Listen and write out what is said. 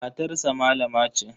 Matarsa malama ce.